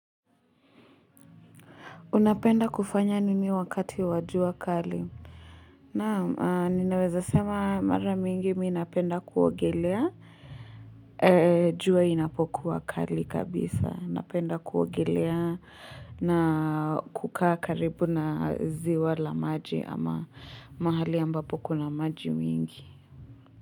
Unapenda kufanya nini wakati wajua kali. Naam, ninaweza sema mara mingi mii napenda kuogelea. Jua inapokuwa kali kabisa. Napenda kuogelea na kukaa karibu na ziwa la maji ama mahali ambapo kuna maji mingi.